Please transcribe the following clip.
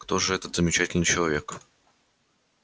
кто же этот замечательный человек